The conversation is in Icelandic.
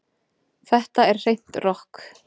Þetta er hreint rokk